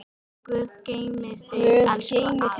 Guð geymi þig, elsku afi.